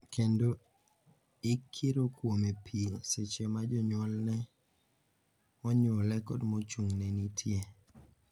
Kendo ikiro kuome pi seche ma jonyuolne monyuole kod mochung'ne nitie.